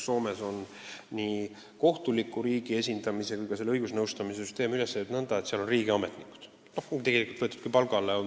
Soomes on nii riigi kohtuliku esindamise kui ka õigusnõustamise süsteem üles ehitatud nõnda, et seal on sellised ametnikud võetud riigi palgale.